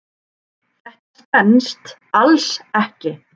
Þetta stenst alls ekki.